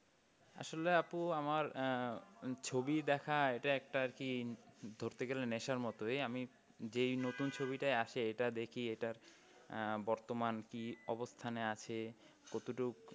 আসলে আপু আমার আহ ছবি দেখা এটা একটা আর কি ধরতে গেলে নেশার মতোই আমি যেই নতুন ছবিটাই আসে এটা দেখি এটা আহ বর্তমান কি অবস্থানে আছে কতটুকু